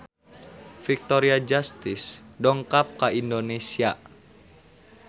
Victoria Justice dongkap ka Indonesia